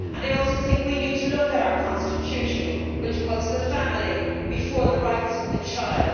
I think we also need to look at our Constitution, which puts the family before the rights of the child.